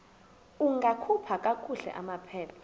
ungakhupha kakuhle amaphepha